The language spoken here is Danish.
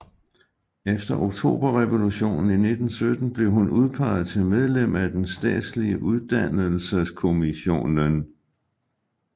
Efter oktoberrevolutionen i 1917 blev hun udpeget til medlem af den statslige uddannelseskommissionen